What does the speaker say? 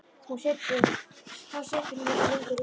Þá situr hún ekki lengur uppi.